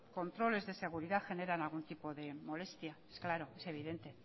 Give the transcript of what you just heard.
controles de seguridad generan algún tipo de molestia claro es evidente